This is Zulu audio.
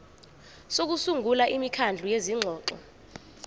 sokusungula imikhandlu yezingxoxo